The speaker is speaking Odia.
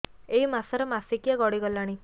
ଏଇ ମାସ ର ମାସିକିଆ ଗଡି ଗଲାଣି